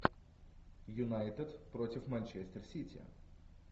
юнайтед против манчестер сити